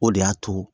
O de y'a to